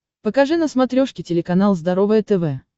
покажи на смотрешке телеканал здоровое тв